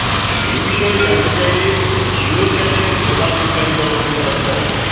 এ বিষয়ে জানতে চাইলে শিওরক্যাশের প্রধান নির্বাহী কর্মকর্তা ড